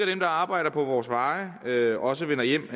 dem der arbejder på vores veje også vender hjem